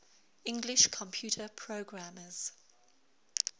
english computer programmers